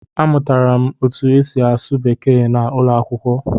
Amụtara m otú e si asụ Bekee n'ụlọ akwụkwọ